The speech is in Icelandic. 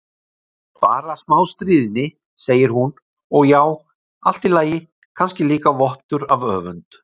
Bara smá stríðni, segir hún, og já, allt í lagi, kannski líka vottur af öfund.